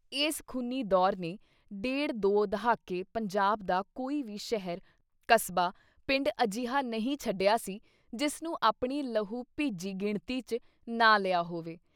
ਇਸ ਖੂਨੀ ਦੌਰ ਨੇ ਡੇਢ ਦੋ ਦਹਾਕੇ ਪੰਜਾਬ ਦਾ ਕੋਈ ਵੀ ਸ਼ਹਿਰ, ਕਸਬਾ, ਪਿੰਡ ਅਜਿਹਾ ਨਹੀਂ ਛੱਡਿਆ ਸੀ ਜਿਸ ਨੂੰ ਆਪਣੀ ਲਹੂ ਭਿੱਜੀ ਗਿਣਤੀ ‘ਚ ਨਾ ਲਿਆ ਹੋਵੇ।